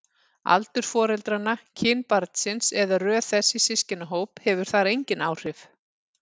Aldur foreldranna, kyn barnsins eða röð þess í systkinahóp hefur þar engin áhrif.